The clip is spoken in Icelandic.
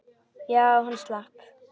Já, hann slapp.